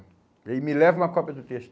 E me leva uma cópia do texto.